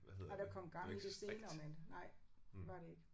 Nej der kom gang i det senere men nej det var det ikke